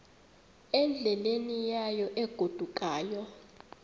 endleleni yayo egodukayo